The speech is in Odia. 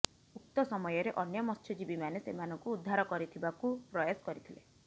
ଉକ୍ତ ସମୟରେ ଅନ୍ୟ ମତ୍ସ୍ୟଜୀବୀ ମାନେ ସେମାନଙ୍କୁ ଉଦ୍ଧାର କରିଥିବାକୁ ପ୍ରୟାସ କରିଥିଲେ